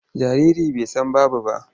Jariri bai san babu ba.